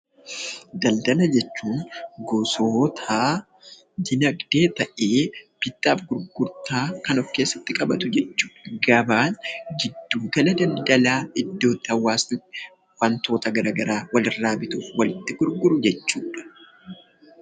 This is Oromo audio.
Daldala jechuun gosoota diinagdee ta'ee bittaa fi gurgurtaa kan of keessatti qabatu jechuu dha. Gabaan giddu gala daldalaa, iddoo itti hawaasni wantoota garaagaraa wal'irraa bituu fi walitti gurguru, jechuu dha.